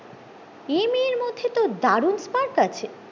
এ মেয়ের মধ্যে তো দারুন spark আছে